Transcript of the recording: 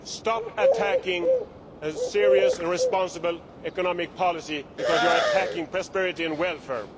Stop attacking a serious and responsible economic policy, because you are attacking prosperity and welfare.